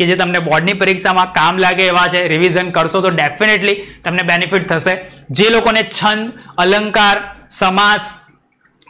કે જે તમને બોર્ડ ની પરીક્ષામાં કામ લાગે એવા છે revision કરશો તો definitely તમને benefit થશે. જે લોકોને છંદ, અલંકાર, સમાષ,